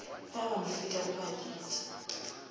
ba ba mo fetago baditi